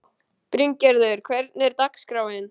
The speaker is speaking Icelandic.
Bryngerður, hvernig er dagskráin?